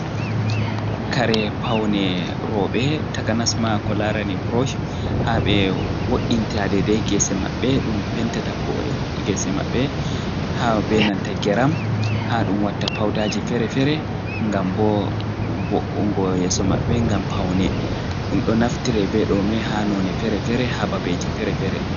Kare paune rowɓe takanasma ko larani burosh, haa ɓe wo'inta dedai gese maɓɓe , ɗum pentata ko gese maɓɓe ha be nanta geram, haa ɗum watta paudaji feere-feere ngam bo wo'ungo yeso maɓɓe ngam paune ɗum, ɗo naftira be ɗome haa none feere-feere, haa babeji feere-feere.